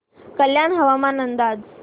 कल्याण हवामान अंदाज